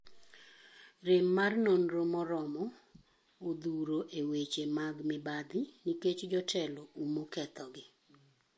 Rem mar nonro moromo odhuro e weche mag mibadhi nikech jotelo umo ketho gi.